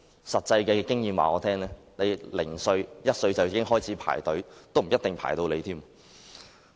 實際經驗告訴我，兒童1歲開始排隊，也未必輪得到。